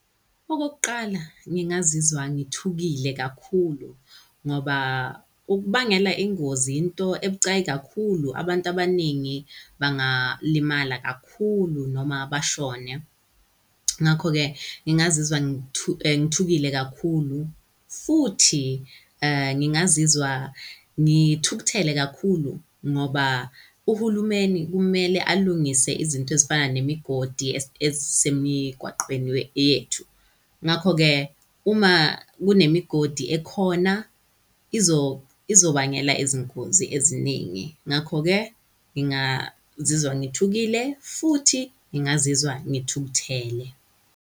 Okokuqala, ngingazizwa ngithukile kakhulu ngoba ukubangela ingozi into ebucayi kakhulu. Abantu abaningi bangalimala kakhulu noma bashone, ngakho-ke ngingazizwa ngithukile kakhulu futhi ngingazizwa ngithukuthele kakhulu, ngoba uhulumeni kumele alungise izinto ezifana nemigodi ezisemigwaqweni yethu. Ngakho-ke uma kunemigodi ekhona izobangela izingozi eziningi. Ngakho-ke ngingazizwa ngithukile futhi ngingazizwa ngithukuthele.